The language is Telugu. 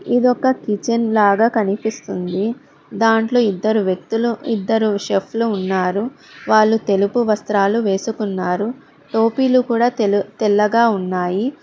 ఇదొక కిచెన్ లాగ కనిపిస్తుంది దాంట్లో ఇద్దరు వ్యక్తులు ఇద్దరు షఫ్లూ ఉన్నారు వాళ్ళు తెలుపు వస్త్రాలు వేసుకున్నారు టోపీలు కూడ తెల్లగా ఉన్నాయి.